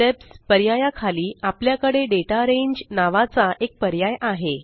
steps पर्याया खाली आपल्याकडे दाता रांगे नावाचा एक पर्याय आहे